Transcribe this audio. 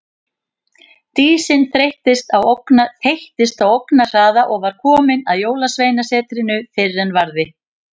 Dísin þeyttist á ógnarhraða og var komin að Jólasveinasetrinu fyrr en varði.